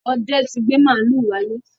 Ọdẹ ti gbé màlúù wálé.